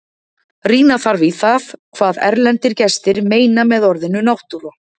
Rýna þarf í það hvað erlendir gestir meina með orðinu náttúra.